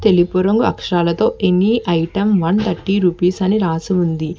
తెలుపు రంగు అక్షరాలతో any item one thirty rupees అని రాసి ఉంది.